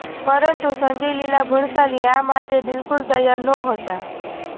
પરંતુ સંજય લીલા ભણસાલી આ માટે બિલકુલ તૈયાર નહોતા